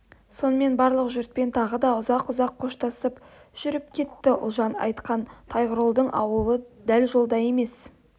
сонымен барлық жұртпен тағы да ұзақ-ұзақ қоштасып жүріп кетті ұлжан айтқан тойғұлының аулы дәл жолда емес